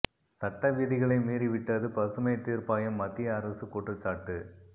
சட்ட விதிகளை மீறிவிட்டது பசுமை தீர்ப்பாயம் மத்திய அரசு குற்றச்சாட்டு